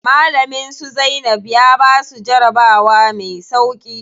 Malamin su Zainab ya basu jarabawa me sauƙi.